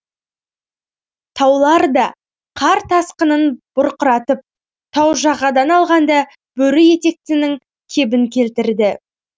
таулар да қар тасқынын бұрқыратып тау жағадан алғанда бөрі етектінің кебін келтірді